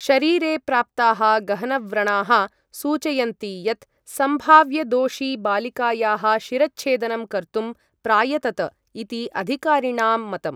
शरीरे प्राप्ताः गहनव्रणाः सूचयन्ति यत् संभाव्य दोषी बालिकायाः शिरच्छेदनं कर्तुं प्रायतत, इति अधिकारिणाम् मतम्।